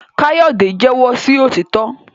Kayode jẹwọ sí òtítọ